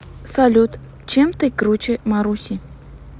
салют чем ты круче маруси